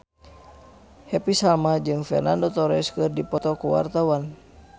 Happy Salma jeung Fernando Torres keur dipoto ku wartawan